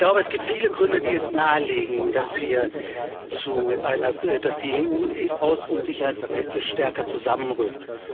Ich glaube, es gibt viele Gründe, die es nahelegen, dass die EU außen und sicherheitspolitisch stärker zusammenrückt.